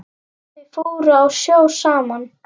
Þau fóru á sjó saman.